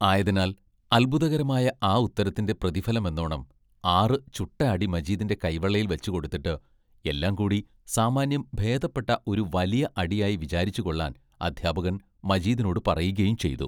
ആയതിനാൽ അത്ഭുതകരമായ ആ ഉത്തരത്തിന്റെ പ്രതിഫലമെന്നോണം ആറു ചുട്ട അടി മജീദിന്റെ കൈവെള്ളയിൽ വച്ചുകൊടുത്തിട്ട് എല്ലാം കൂടി സാമാന്യം ഭേദപ്പെട്ട ഒരു വലിയ അടിയായി വിചാരിച്ചു കൊള്ളാൻ അദ്ധ്യാപകൻ മജീദിനോടു പറയുകയും ചെയ്തു.